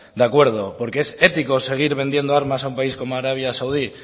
de acuerdo porque es ético seguir vendiendo armas a un país como arabia saudí